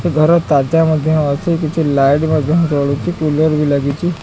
ସେ ଘରର ତାଜା ମଧ୍ୟ ଅଛି କିଛି ଲାଇଟ୍ ମଧ୍ୟ ଜଳୁଛି କୁଲର ବି ଲାଗିଛି।